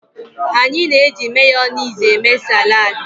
Anyị na-eji Mayonezi eme saladi.